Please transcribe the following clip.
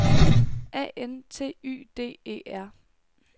A N T Y D E R